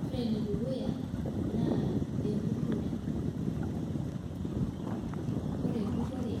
Ore enedukuya naa empurore .Ore empurore